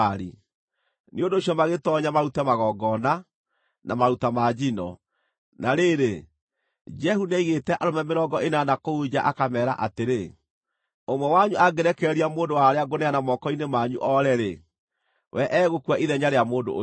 Nĩ ũndũ ũcio magĩtoonya marute magongona, na maruta ma njino. Na rĩrĩ, Jehu nĩaigĩte arũme mĩrongo ĩnana kũu nja akameera atĩrĩ: “Ũmwe wanyu angĩrekereria mũndũ wa arĩa ngũneana moko-inĩ manyu oore-rĩ, we egũkua ithenya rĩa mũndũ ũcio.”